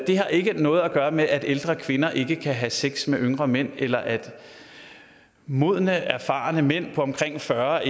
har ikke noget at gøre med at ældre kvinder ikke kan have sex med yngre mænd eller at modne erfarne mænd på omkring fyrre